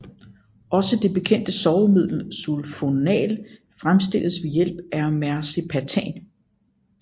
Også det bekendte sovemiddel sulfonal fremstilles ved hjælp af mercaptan